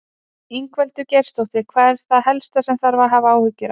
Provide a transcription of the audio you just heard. Ingveldur Geirsdóttir: Hvað er það helst sem þarf að hafa áhyggjur af?